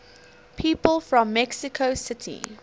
people from mexico city